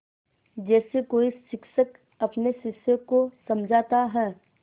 जैसे कोई शिक्षक अपने शिष्य को समझाता है